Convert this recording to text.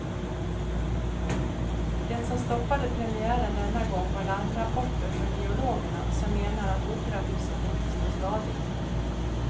Det som stoppade premiären denna gång var larmrapporter från geologerna, som menar att operahuset inte står stadigt.